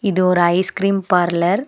இது ஒரு ice cream parlour .